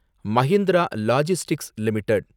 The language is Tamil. Mahindra logistics limited